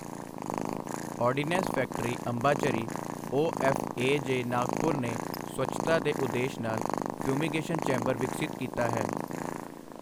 Ordinance factory Ambajhari OFAJ Nagpur ਨੇ ਸਵੱਛਤਾ ਦੇ ਉਦੇਸ਼ ਨਾਲ ਫਿਊਮੀਗੇਸ਼ਨ ਚੈਂਬਰ ਵਿਕਸਿਤ ਕੀਤਾ ਹੈ।